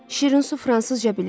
Şirinsu fransızca bilir.